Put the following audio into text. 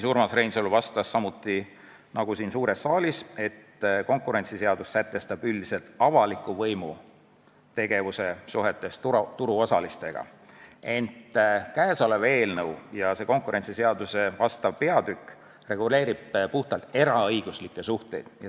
Urmas Reinsalu vastas samuti nagu siin suures saalis, et konkurentsiseadus sätestab üldiselt avaliku võimu tegevuse suhetes turuosalistega, ent käesolev eelnõu ja konkurentsiseaduse vastav peatükk reguleerivad puhtalt eraõiguslikke suhteid.